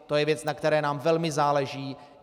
To je věc, na které nám velmi záleží.